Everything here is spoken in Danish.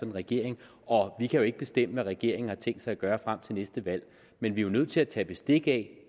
en regering og vi kan jo ikke bestemme hvad regeringen har tænkt sig at gøre frem til næste valg men vi er nødt til at tage bestik af